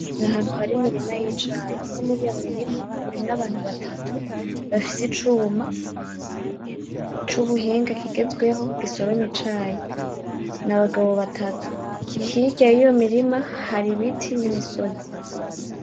N'ahantu hari imirima y'icayi, umwe muriyo mirima urimwo abantu batatu bafise icuma, cubuhinga kigezweho gisoroma icayi, n'abagabo batatu, hirya yiyo mirima hari ibiti n'imisozi.